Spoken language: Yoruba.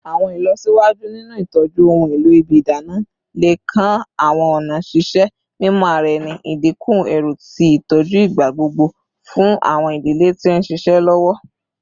Awọn ilọsiwaju ninu itọju ohun elo ibi idana le kan awọn ọna ṣiṣe mimọ ara ẹni, idinku ẹru ti itọju igbagbogbo fun awọn idile ti n ṣiṣẹ lọwọ.